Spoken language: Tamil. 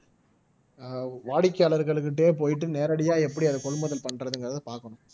ஆஹ் வாடிக்கையாளர்கள்கிட்டயே போயிட்டு நேரடியா எப்படி அதை கொள்முதல் பண்றதுங்கிறதை பார்க்கணும்